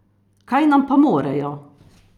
Kaj nam pa morejo!